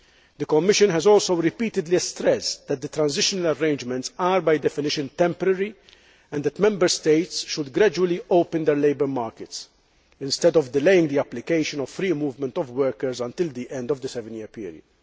The Commission has also repeatedly stressed that the transitional arrangements are, by definition, temporary, and that Member States should gradually open their labour markets, instead of delaying the application of free movement of workers until the end of the seven year period.